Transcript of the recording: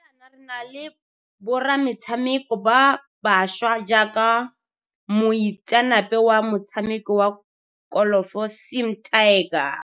Ga jaana re na le borametshameko ba bašwa jaaka mo itseanape wa motshameko wa kolofo Sim 'Tiger